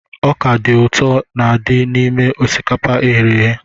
Ọkà dị ụtọ n'adi n'ime osikapa eghere eghe.